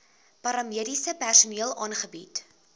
paramediese personeel aangebied